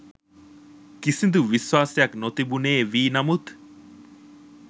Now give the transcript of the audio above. කිසිදු විශ්වාසයක් නොතිබුණේ වී නමුත්